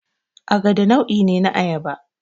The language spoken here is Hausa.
Agada nau'i ne na Ayaba